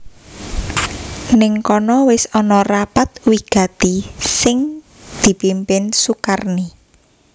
Nèng kono wis ana rapat wigati sing dipimpin Sukarni